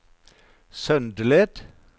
Søndeled